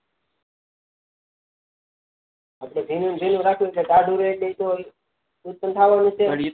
આપડે ભીનું ભીનું જ રાખીએ તો ટાઢું રે એટલે તો ઉત્પન્ન થવાનું છે